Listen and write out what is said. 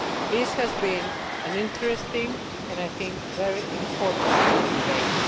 This has been an interesting and I think a very important debate.